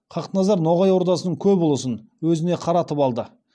хақназар ноғай ордасының көп ұлысын өзіне қаратып алды